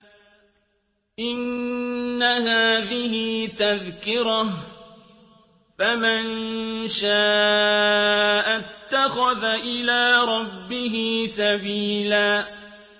إِنَّ هَٰذِهِ تَذْكِرَةٌ ۖ فَمَن شَاءَ اتَّخَذَ إِلَىٰ رَبِّهِ سَبِيلًا